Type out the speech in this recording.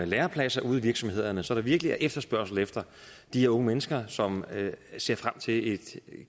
lærepladser ude i virksomhederne så der er virkelig efterspørgsel efter de unge mennesker som ser frem til et